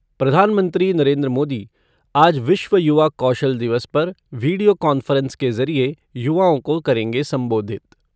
प्रधानमंत्री नरेन्द्र मोदी आज विश्व युवा कौशल दिवस पर वीडियो कॉन्फ़्रेंस के ज़रिये युवाओं को करेंगे संबोधित।